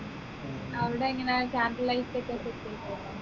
അവിടെ എങ്ങനെ candle lights ഒക്കെ set ചെയ്തുതരുമോ